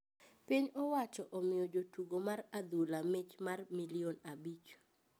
Piny owacho omiyo jo tugo mar adhula mich mar milllion abich